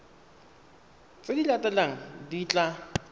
tse di latelang di tla